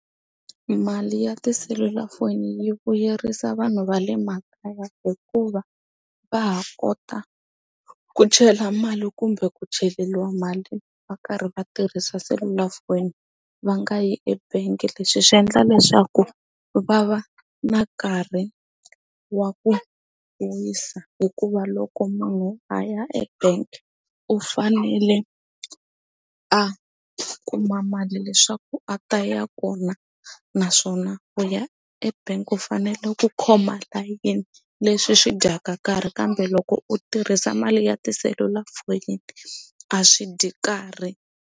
Mali ya tiselulafoni yi vuyerisa vanhu va le makaya hikuva va ha kota ku chela mali kumbe ku cheleteriwa mali va karhi va tirhisa selulafoni va nga yi ebangi leswi swi endla leswaku va va na nkarhi wa ku wisa hikuva loko munhu a ya ebank u fanele a kuma mali leswaku a ta ya kona naswona u ya e bank u fanele ku khoma layeni leswi swi dyaka nkarhi kambe loko u tirhisa mali ya tiselulafoni a swi dyi karhi.